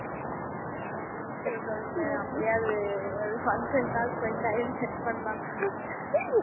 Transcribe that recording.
ஹம் இருந்தா சொல்லங்க அப்படியாவது ஒரு function காவது போய் time spend பண்ணலாம்